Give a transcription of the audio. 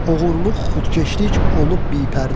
Oğurluq xudkeşlik olub bipərdə.